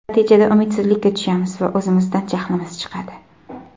Natijada umidsizlikka tushamiz va o‘zimizdan jahlimiz chiqadi.